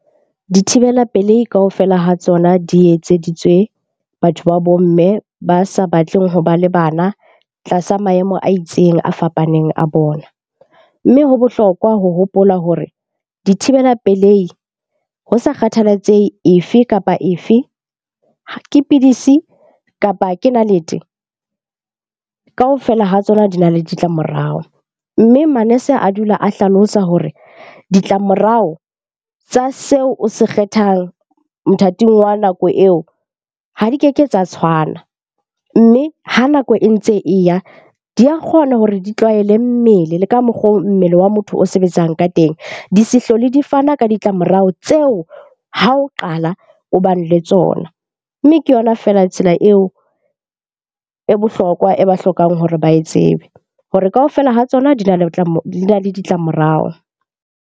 Dithibela pelehi kaofela ha tsona di etseditswe batho ba bo mme ba sa batleng hoba le bana tlasa maemo a itseng a fapaneng a bona. Mme ho bohlokwa ho hopola hore dithibela pelehi ho sa kgathalatsehe e fe kapa e fe ke pidisi kapa ke nalete, kaofela ha tsona di na le ditlamorao. Mme manese a dula a hlalosa hore ditlamorao tsa seo o se kgethang mothating wa nako eo ha di keke tsa tshwana. Mme ha nako e ntse e ya di a kgona hore di tlwaele mmele le ka mokgo mmele wa motho o sebetsang ka teng. Di se hlole di fana ka ditlamorao tseo ha o qala o bane le tsona, mme ke yona feela tsela eo e bohlokwa e ba hlokang hore ba e tsebe hore kaofela ha tsona di na le ditlamorao.